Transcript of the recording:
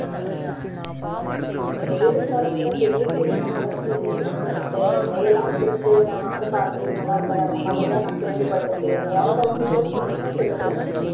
இலையுதிர் காலத்துல தெரியலயே, என்ன விளைச்சல் இருக்குன்னு சொல்லிட்டு இலையெல்லாம் உதிர்ந்து நம்ம வந்து பார்க்கவே நல்லா இருக்காது. அந்த மாதிரிதான் நான் கேள்விப்பட்டிருக்கேன். வேற எதாச்சும் நீ கேள்விப்பட்டிருந்தினா சொல்லு பிரியங்கா